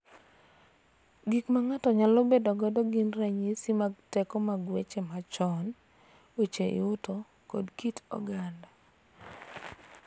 Gik ma ng�ato nyalo bedogo gin ranyisi mag teko mag weche machon, weche yuto, kod kit oganda